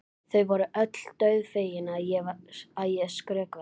Þau voru öll dauðfegin að ég skrökvaði.